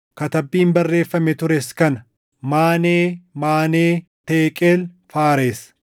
“Katabbiin barreeffamee tures kana: Maanee, Maanee, Teeqeel, Faares.